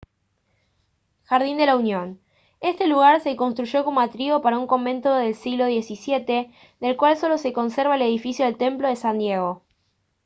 jardín de la unión este lugar se construyó como atrio para un convento del siglo xvii del cual solo se conserva el edificio del templo de san diego